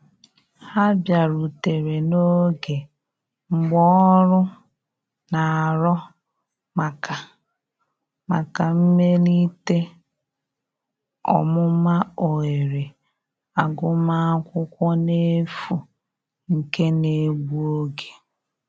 Ha biarutere n'oge mgbaọrụ n'arọ maka maka mmelite ọmụma ohere agụma akwụkwo n'efu nke na egbụ oge.